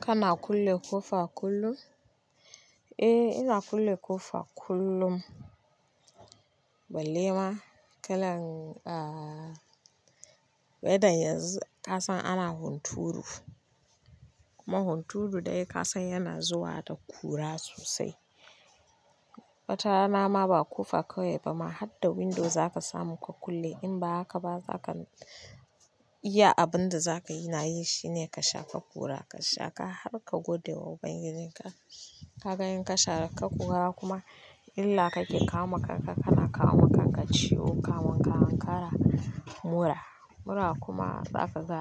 Kana kulle ƙofa kullum? Eh, ina kulle ƙofa kullum. Balle ma kalan weather yanzu, ka san ana hunturu. Kuma hunturu dai ka san yana zuwa da kura sosai. Watarana ma ba ƙofa kawai ba ma, har da window za ka samu ka kulle. In ba haka ba, za ka iya abin da za ka yi na yi shine ka shafa kura. Ka shaka har ka gode wa ubangijin ka. Ka ga in ka shaka kura kuma, illa kake kawi ma kanka kana kawo ma kanka ciwo, kamun ka ankara, mura. Mura kuma za ka ga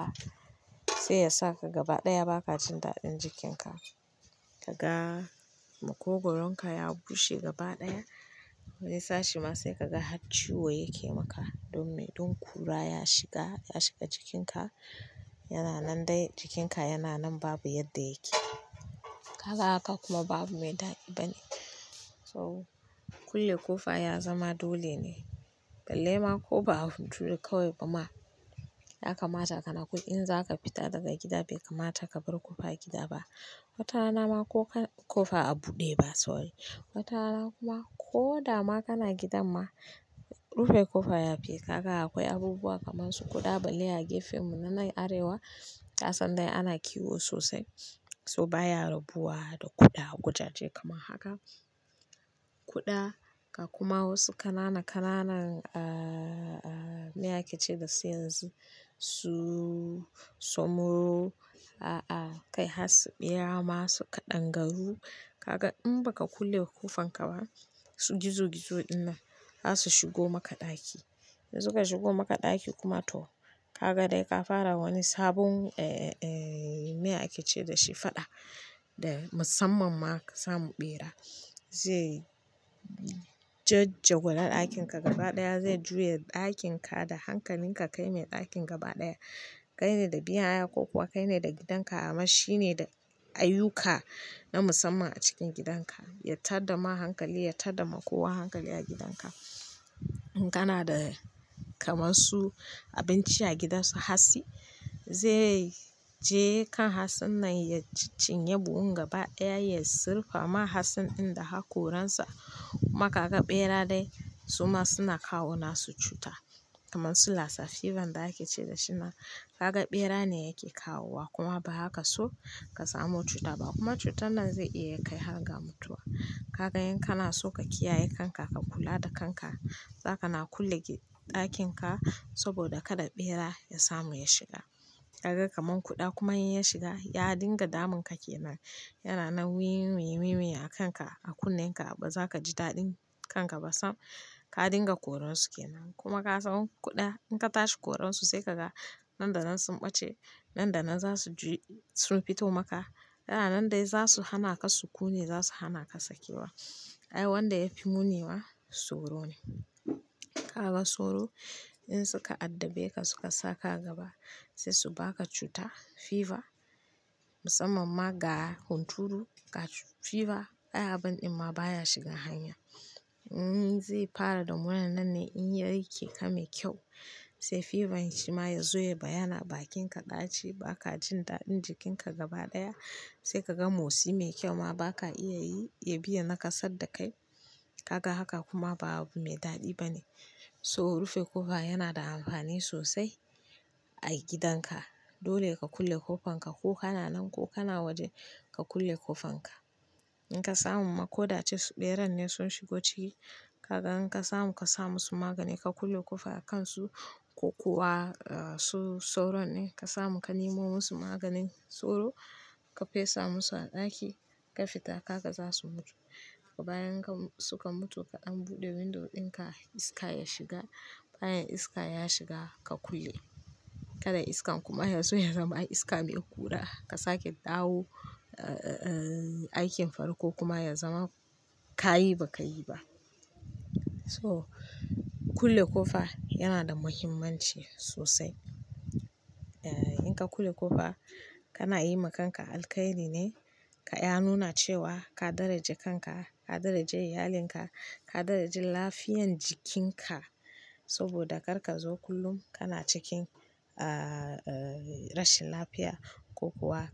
sai yasa ka gaba ɗaya ba ka jin daɗin jikinka. Ka ga, makogaronka ya bushe gaba ɗaya. Wani sashe ma sai ka ga har ciwo yake maka. Don me? Don kura ya shiga, ya shiga jikinka. Yana nan dai jikinka yana nan babu yadda yake. Ka ga haka kuma babu mai daɗi bane. So kulle ƙofa ya zama dole ne. Balle ma ko ba hunturu kawai ba ma, ya kamata kana ku-- in za ka fita daga gida bai kamata ka bar ƙofar gida ba. Watarana ma ko-- ƙofa a buɗe ba sorry. Watarana kuma ko dama kana gidan ma, rufe ƙofa ya fi. Ka ga akwai abubuwa kaman su kuɗa balle a gefenmu na nan arewa. Ka san dai ana kiwo sosai, so baya rubuwa da kuɗa, wajaje kamar haka. Kuɗa ga kuma wasu kanana-kananan me ake ce da su yanzu su, so muro. A'a, kai har su ɓera ma su kaɗangaru. Ka ga in ba ka kulle ƙofanka ba, su gizo-gizo dinnan za su shigo maka ɗaki. In suka shigo maka ɗaki kuma to, ka ga dai ka fara wani sabon me ake ce da shi faɗa da musamman ma ka samu ɓera. Zai jajjagula ɗakinka gaba ɗaya. Zai juya ɗakinka da hankalinka kai mai ɗakin gaba ɗaya. Kai ne da biyan haya ko kuwa kai ne da gidanka amma shi ne da ayyuka na musamman a cikin gidanka. Ya tada ma hankali, ya tada ma kowa hankali a gidanka. In kana da kamar su abinci a gidansu hatsi, zai je kan hatsin nan ya ciccinye buhun gaba ɗaya, ya sirfa ma hatsin in da aka koransa. Kuma ka ga ɓera dai suma suna kawo nasu cuta, kaman su Lassa fever da ake ce da shi nan. Ka ga ɓera ne yake kawo wa kuma bazaka so ka samu cuta ba kuma cutar nan zai iya kai har ga mutuwa. Ka ga in kana so ka kiyaye kanka, ka kula da kanka, za ka na kulle ɗakinka saboda kada ɓera ya samu ya shiga. Ka ga kaman kuɗa kuma in ya shiga, ya dinga damun ka ke nan. Yana nan "wiwi-wiwi" a kanka, a kunnenka ba za ka ji daɗin kanka ba sam. Ka dinga koronsu ke nan, kuma ka san kuɗa in ka tashi koronsu sai ka ga nan da nan sun ɓace, nan da nan za su ju-- sun fito maka. Yana nan dai za su hana ka sukuni, za su hana ka sakewa. Ai wanda ya fi muni ma sauro ne. Ka ga sauro in suka addabe ka suka sa ka gaba sai su baka cuta fever musamman ma ga hunturu. Ga fever, ai abin din ma baya shiga hanya. Zai fara da wayannan ne in ya rike ka me kyau, sai fever shi ma ya zo ya bayyana, bakinka ɗaci, ba ka jin daɗin jikinka gaba ɗaya. Sai ka ga motsi mai kyau ma ba ka iya yi, ya bi ya nakasaddakai. Ka ga haka kuma babu mai daɗi bane. So rufe ƙofa yana da amfani sosai a gidan ka. Dole ka kulle ƙofanka ko kana nan ko kana waje ka kulle ƙofanka. In ka samu ma ko da a ce su ɓeran ne sun shigo ciki, ka ga in ka samu ka sa musu magani ka kulle ƙofa a kansu ko kuwa su sauron ne, ka samu ka nemo musu maganin sauro, ka fesa musu a ɗaki ka fita kaga za su mutu. Kuma bayan suka mutu an buɗe window ɗinka iska ya shiga. Bayan iska ya shiga ka kulle. Kada iskan kuma ya zo ya zama iska mai kura ka sake dawo aikin farko kuma ya zama ka yi ba ka yi ba. So kulle ƙofa yana da muhimmanci sosai. In ka kulle ƙofa kana yi ma kanka alkhairi ne. Ya nuna cewa ka daraja kanka, ka daraja iyalinka, ka daraja lafiyan jikinka saboda kar ka zo kullum kana cikin rashin lafiya ko kuwa.